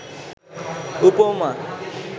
উপমা